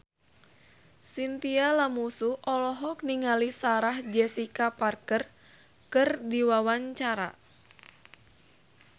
Chintya Lamusu olohok ningali Sarah Jessica Parker keur diwawancara